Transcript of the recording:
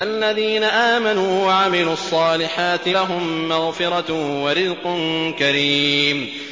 فَالَّذِينَ آمَنُوا وَعَمِلُوا الصَّالِحَاتِ لَهُم مَّغْفِرَةٌ وَرِزْقٌ كَرِيمٌ